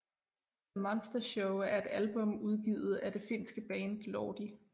The Monster Show er et album udgivet af det finske band Lordi